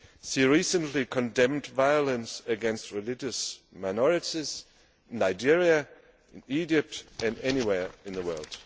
She recently condemned violence against religious minorities in Nigeria, Egypt and anywhere in the world.